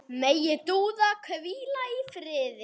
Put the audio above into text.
Megi Dúa hvíla í friði.